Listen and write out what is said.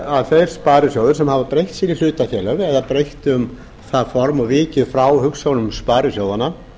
að þeir sparisjóðir sem hafa breytt sér í hlutafélög eða breytt um það form og vikið frá hugsjónum sparisjóðanna